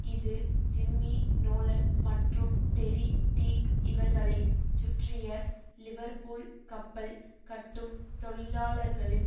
இது Jimmy Nolan மற்றும் Terry Teague இவர்களைச் சுற்றிய லிவர்பூல் கப்பல் கட்டும் தொழிலாளர்களின்